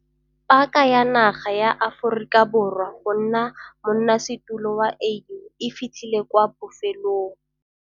Paka ya naga ya Afo rika Borwa go nna monnasetulo wa AU e fitlhile kwa bofelong.